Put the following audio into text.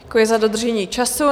Děkuji za dodržení času.